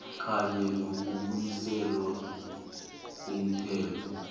kanye nokubuyiselwa umthelo